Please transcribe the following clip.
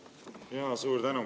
Suur tänu!